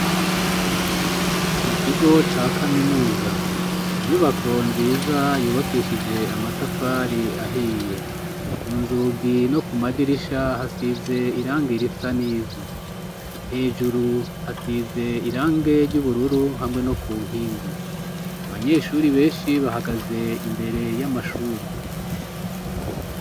Mukigo ca kaminuza, inyubako nziza yubakishije amatafari ahiye, ku nzugi no ku madirisha hasize irange risa n'ivu, hejuru hasize irange ry'ubururu hamwe no ku nkingi, abanyeshuri benshi bahagaze imbere y'amashuri.